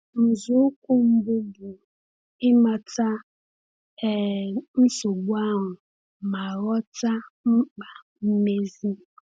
Nzọụkwụ mbụ bụ ịmata um nsogbu ahụ ma ghọta mkpa mmezi.